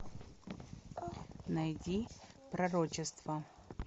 найди пророчество